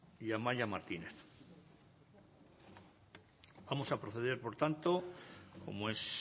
y amaia martínez vamos a proceder por tanto como es